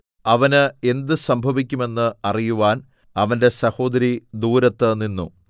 അവന് എന്ത് സംഭവിക്കുമെന്ന് അറിയുവാൻ അവന്റെ സഹോദരി ദൂരത്ത് നിന്നു